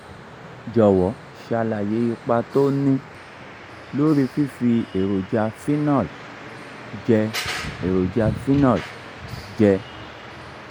jọ̀wọ́ ṣàlàyé ipa tó ń ní lórí fífi èròjà phenol jẹ èròjà phenol jẹ